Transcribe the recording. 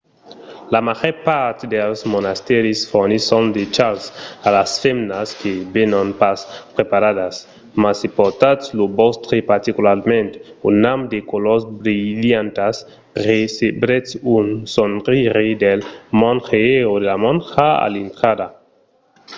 la màger part dels monastèris fornisson de chals a las femnas que venon pas preparadas mas se portatz lo vòstre particularament un amb de colors brilhantas recebretz un sorire del monge o de la monja a l'intrada